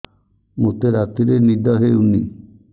ମୋତେ ରାତିରେ ନିଦ ହେଉନି